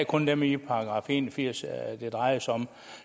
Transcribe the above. kun dem fra en og firs det drejer sig om